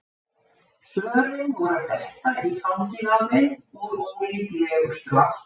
Svörin voru að detta í fangið á þeim úr ólíklegustu áttum.